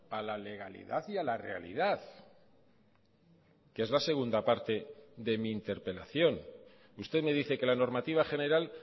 a la legalidad y a la realidad que es la segunda parte de mi interpelación usted me dice que la normativa general